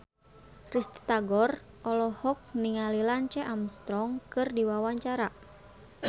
Risty Tagor olohok ningali Lance Armstrong keur diwawancara